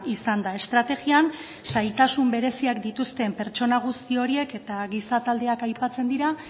izan da estrategian zailtasun bereziak dituzten pertsona guzti horiek eta giza taldeak aipatzen dira